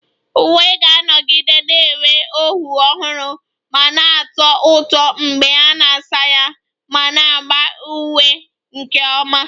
Uwe ga-anọgide na-enwe ọhụụ ọhụrụ ma na-atọ ụtọ mgbe a na-asa ya ma na-agba ígwè nke ọma